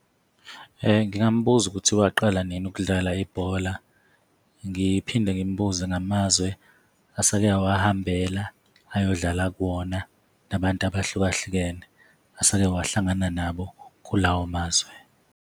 Ngingambuza ukuthi waqala nini ukudlala ibhola, ngiphinde ngimbuze ngamazwe asake wawahambela ayodlala kuwona, nabantu abahlukahlukene asake wahlangana nabo kulawo mazwe.